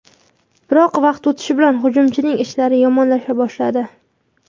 Biroq vaqt o‘tishi bilan hujumchining ishlari yomonlasha boshladi.